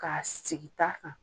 K'a sigi ta kan.